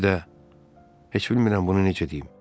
Bir də heç bilmirəm bunu necə deyim.